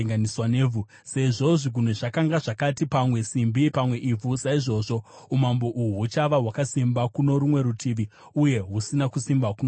Sezvo zvigunwe zvakanga zvakati pamwe simbi pamwe ivhu, saizvozvo umambo uhu huchava hwakasimba kuno rumwe rutivi uye husina kusimba kuno rumwe rutivi.